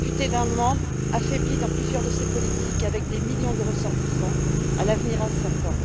Elle se retrouve amputée d'un membre, affaiblie dans plusieurs de ses politiques et avec des millions de ressortissants à l'avenir incertain.